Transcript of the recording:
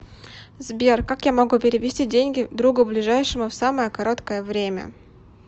сбер как я могу перевести деньги другу ближайшему в самое короткое время